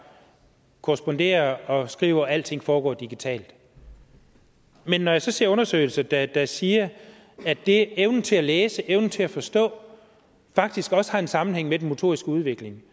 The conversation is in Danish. korresponderer og skriver og at alting foregår digitalt men når jeg så ser undersøgelser der der siger at evnen til at læse evnen til at forstå faktisk også har en sammenhæng med den motoriske udvikling